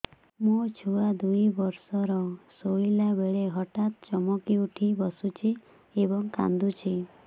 ମୋ ଛୁଆ ଦୁଇ ବର୍ଷର ଶୋଇଲା ବେଳେ ହଠାତ୍ ଚମକି ଉଠି ବସୁଛି ଏବଂ କାଂଦୁଛି